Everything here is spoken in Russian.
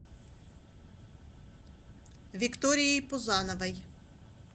викторией пузановой